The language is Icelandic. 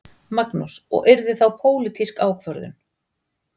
Magnús: Og yrði þá pólitísk ákvörðun?